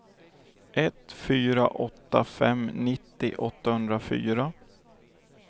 ett fyra åtta fem nittio åttahundrafyra